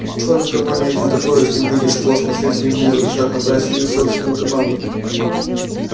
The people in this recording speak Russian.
кроме того ни один торговец не выйдет в космос если ему не разрешат набрать свою собственную команду